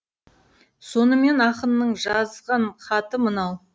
сонымен ақынның жазған хаты мынау